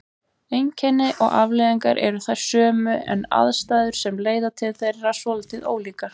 Einkenni og afleiðingar eru þær sömu en aðstæður sem leiða til þeirra svolítið ólíkar.